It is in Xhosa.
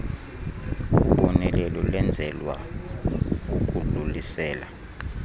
ubonelelo lwenzelwa ukudlulisela